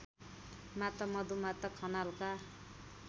माता मधुमाता खनालका